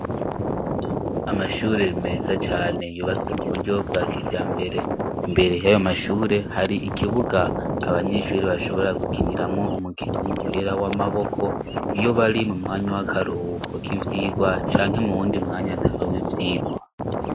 Amashure meza cane yubatswe mu buryo bwa kijambere. Imbere yayo mashure hari ikibuga abanyeshuri bashobora gukiniramwo umukino w'umupira w'amaboko iyo bari mu mwanya w'akaruwuko k ivyigwa canke mu wundi mwanya ataro w'ivyigwa.